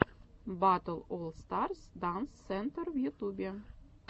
батл олл старс данс сентр в ютубе